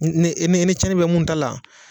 N ne ne cɛni bɛ mun ta la